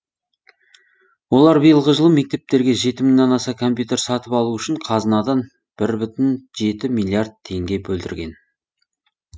олар биылғы жылы мектептерге жеті мыңнан аса компьютер сатып алу үшін қазынадан бір бүтін жеті миллиард теңге бөлдірген